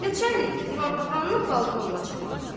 Nəçannikdə divanxananın balkonuna çıxmaqda.